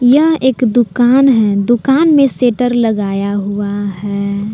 यह एक दुकान है दुकान में शटर लगाया हुआ है।